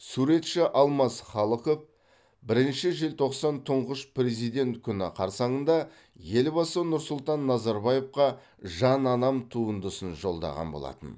суретші алмас халықов бірінші желтоқсан тұңғыш президент күні қарсаңында елбасы нұрсұлтан назарбаевқа жан анам туындысын жолдаған болатын